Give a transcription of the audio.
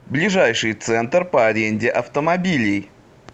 ближайший центр по аренде автомобилей